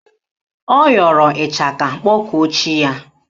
Ọ yọrọ ịchaka kpọkuo chi ya?